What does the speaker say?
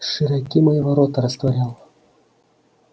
широки мои ворота растворял